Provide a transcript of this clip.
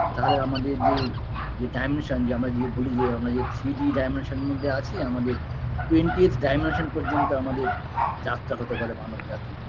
তাহলে আমাদের যে যে dimension যে আমরা যে বলি যে আমরা যে three d dimension -এর মধ্যে আছি আমাদের twentieth dimension পর্যন্ত আমাদের যাত্রা হতে পারে মানব জাতির